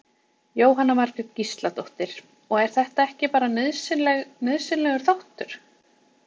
Jóhanna Margrét Gísladóttir: Og er þetta ekki bara nauðsynleg, nauðsynlegur þáttur?